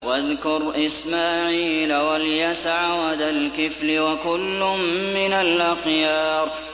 وَاذْكُرْ إِسْمَاعِيلَ وَالْيَسَعَ وَذَا الْكِفْلِ ۖ وَكُلٌّ مِّنَ الْأَخْيَارِ